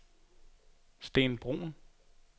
Steen Bruun